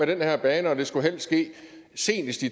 den her bane og det skulle helst ske senest i